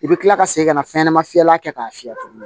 I bɛ kila ka segin ka na fɛnɲɛnama fiyɛlan kɛ k'a fiyɛ tuguni